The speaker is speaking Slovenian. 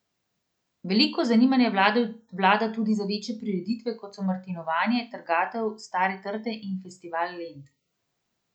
Veliko zanimanja vlada tudi za večje prireditve, kot so martinovanje, trgatev stare trte in Festival lent.